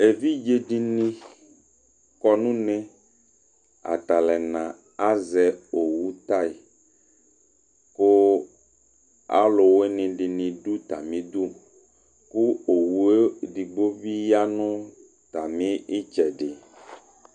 ɛvidzɛdini kɔ nunɛ ɑtɑluɛnɑ ɑzɛ ɔwutaï ku aɑluwinidini du ɑtɑmidu owuɛdigbo biyɑ 'utɑmitsɛdi